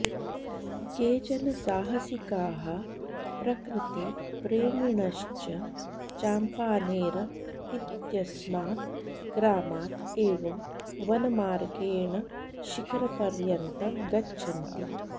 केचन साहसिकाः प्रकृतिप्रेमिणश्च चाम्पानेर इत्यस्मात् ग्रामात् एव वनमार्गेण शिखरपर्यन्तं गच्छन्ति